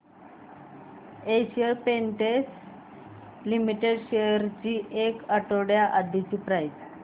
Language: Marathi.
एशियन पेंट्स लिमिटेड शेअर्स ची एक आठवड्या आधीची प्राइस